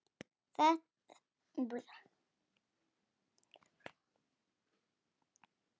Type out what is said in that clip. Það er Marta sem spyr.